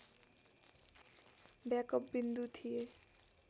backup विन्दु थिए